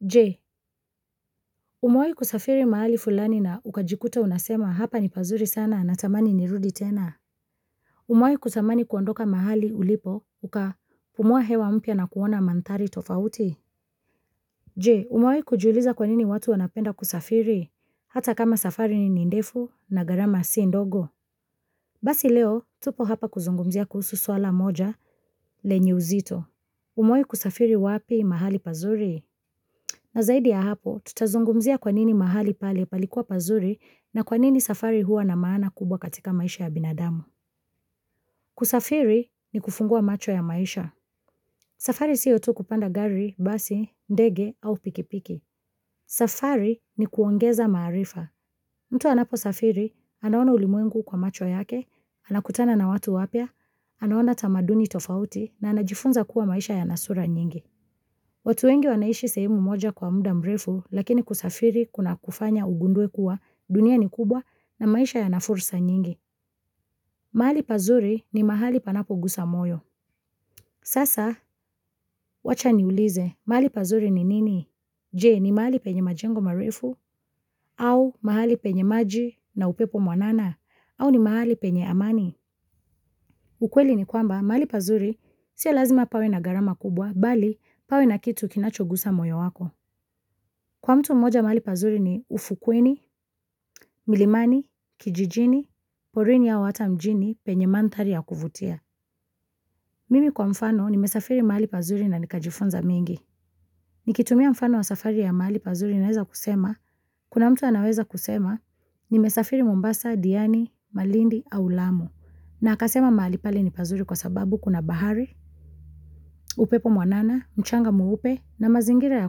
Je, umewahi kusafiri mahali fulani na ukajikuta unasema hapa ni pazuri sana natamani ni rudi tena Umewahi kutamani kuondoka mahali ulipo ukapumua hewa mpya na kuona manthari tofauti Je, umewahi kujiuliza kwa nini watu wanapenda kusafiri hata kama safari ni ndefu na gharama si ndogo Basi leo tupo hapa kuzungumzia kuhusu swala moja lenye uzito umewahi kusafiri wapi mahali pazuri na zaidi ya hapo, tutazungumzia kwa nini mahali pale palikuwa pazuri na kwa nini safari huwa na maana kubwa katika maisha ya binadamu. Kusafiri ni kufungua macho ya maisha. Safari sio tu kupanda gari, basi, ndege au pikipiki. Safari ni kuongeza maarifa. Mtu anapo safiri, anaona ulimwengu kwa macho yake, anakutana na watu wapya, anaona tamaduni tofauti na anajifunza kuwa maisha yanasura nyingi. Watu wengi wanaishi sehemu moja kwa muda mrefu lakini kusafiri kuna kufanya ugundue kuwa dunia ni kubwa na maisha yanafursa nyingi. Mahali pazuri ni mahali panapo gusa moyo. Sasa wacha niulize mahali pazuri ni nini? Je, ni mahali penye majengo mrefu au mahali penye maji na upepo mwanana au ni mahali penye amani. Ukweli ni kwamba mahali pazuri sio lazima pawe na gharama kubwa bali pawe na kitu kinacho gusa moyo wako. Kwa mtu mmoja mahali pazuri ni ufukwini, milimani, kijijini, porini au hata mjini, penye manthari ya kuvutia. Mimi kwa mfano nimesafiri mahali pazuri na nikajifunza mingi. Nikitumia mfano wa safari ya mahali pazuri naweza kusema, kuna mtu anaweza kusema, nimesafiri mombasa, diani, malindi, au lamu. Na akasema mahali pale ni pazuri kwa sababu kuna bahari, upepo mwanana, mchanga mweupe, na mazingira ya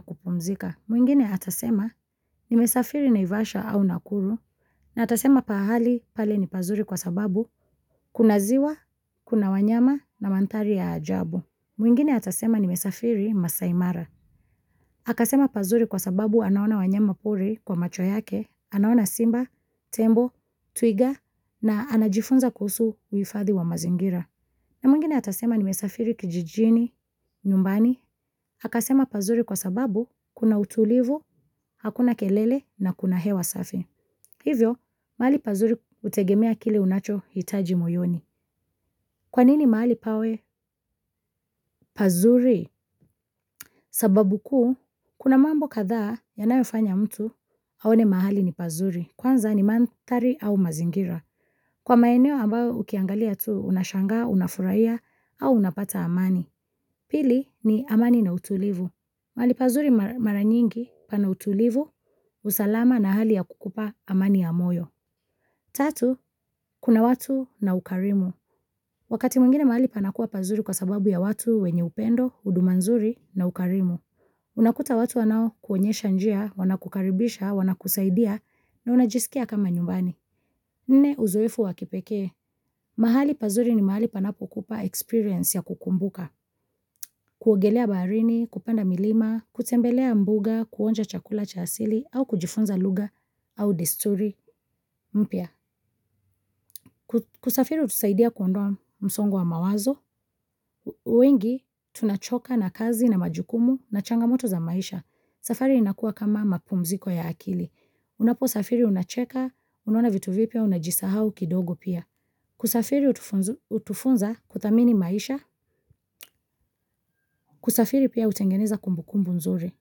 kupumzika. Mwingine atasema nimesafiri naivasha au nakuru na atasema pahali pale ni pazuri kwa sababu kuna ziwa, kuna wanyama na manthari ya ajabu. Mwingine atasema nimesafiri maasai mara. Akasema pazuri kwa sababu anaona wanyama pori kwa macho yake, anaona simba, tembo, twiga na anajifunza kuhusu uhifadhi wa mazingira. Na mwingine atasema nimesafiri kijijini, nyumbani, akasema pazuri kwa sababu kuna utulivu, hakuna kelele na kuna hewa safi. Hivyo, mahali pazuri hutegemea kile unachohitaji moyoni. Kwa nini mahali pawe pazuri? Sababu kuu, kuna mambo kadhaa yanayofanya mtu aone mahali ni pazuri, kwanza ni manthari au mazingira. Kwa maeneo ambayo ukiangalia tu, unashanga, unafurahia au unapata amani. Pili ni amani na utulivu. Mahali pazuri mara nyingi pana utulivu, usalama na hali ya kukupa amani ya moyo. Tatu, kuna watu na ukarimu. Wakati mwingine mahali panakuwa pazuri kwa sababu ya watu wenye upendo, huduma nzuri na ukarimu. Unakuta watu wanaokuonyesha njia, wanakukaribisha, wanakusaidia na unajisikia kama nyumbani. Nne uzoefu wa kipekee, mahali pazuri ni mahali panapo kupa experience ya kukumbuka, kuogelea baharini, kupanda milima, kutembelea mbuga, kuonja chakula cha asili, au kujifunza lugha, au desturi mpya. Kusafiri hutusaidia kuondoa msongo wa mawazo, wengi tunachoka na kazi na majukumu na changamoto za maisha, safari inakuwa kama mapumziko ya akili. Unaposafiri unacheka, unaona vitu vipya, unajisahau kidogo pia. Kusafiri hutufunza kuthamini maisha, kusafiri pia hutengeneza kumbukumbu nzuri.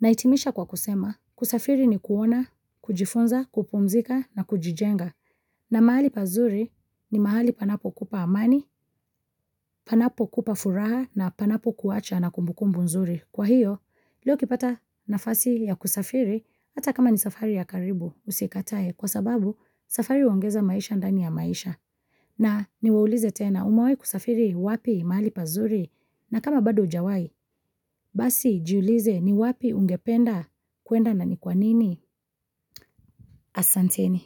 Na hitimisha kwa kusema, kusafiri ni kuona, kujifunza, kupumzika na kujijenga. Na mahali pazuri ni mahali panapo kupa amani, panapo kupa furaha na panapo kuwacha na kumbukumbu nzuri. Kwa hiyo, leo ukipata nafasi ya kusafiri hata kama ni safari ya karibu usikatae kwa sababu safari huongeza maisha ndani ya maisha. Na niwaulize tena umewahi kusafiri wapi mahali pazuri na kama bado hujawai, basi jiulize ni wapi ungependa kuenda na ni kwa nini asanteni.